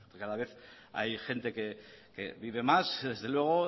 cada vez hay gente que vive más desde luego